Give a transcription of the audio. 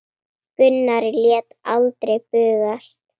Gunnar lét aldrei bugast.